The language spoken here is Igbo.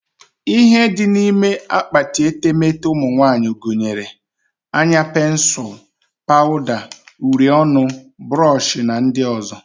Ihe dị n'ime akpati etemete ụmụnwanyị gunyere; anya pensul, pawuda, uri ọnụ, burush na ndị ọzọ